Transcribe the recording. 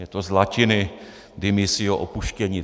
Je to z latiny demissio - opuštěni.